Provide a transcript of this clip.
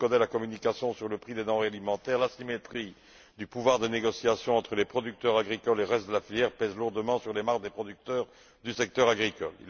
Comme le reconnaît la communication sur le prix des denrées alimentaires, l'asymétrie du pouvoir de négociation entre les producteurs agricoles et le reste de la filière pèse lourdement sur les marges des producteurs du secteur agricole.